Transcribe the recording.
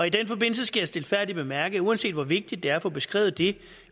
i den forbindelse skal jeg stilfærdigt bemærke at uanset hvor vigtigt det er at få beskrevet det